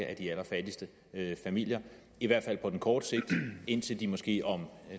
af de allerfattigste familier i hvert fald på kort sigt indtil de måske om